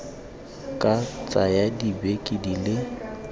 ka tsaya dibeke di le